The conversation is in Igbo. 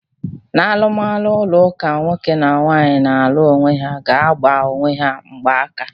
N'alụmalụ ụlọ ụka, nwoke na nwaanyị na-alụ onwe ha ga-agbanye onwe ha mgba aka.